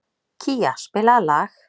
Kía, spilaðu lag.